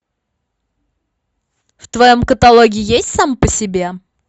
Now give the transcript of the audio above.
в твоем каталоге есть сам по себе